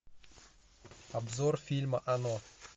обзор фильма оно